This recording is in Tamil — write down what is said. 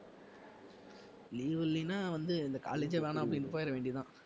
leave இல்லைனா வந்து இந்த college யே வேணா அப்படின்னு போயிட வேண்டியதுதான்